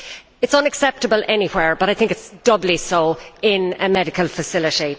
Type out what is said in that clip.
It is unacceptable anywhere but I think it is doubly so in a medical facility.